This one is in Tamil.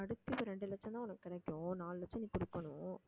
அடுத்தது ரெண்டு லட்சம் தான் உனக்கு கிடைக்கும் நாலு லட்சம் நீ கொடுக்கணும்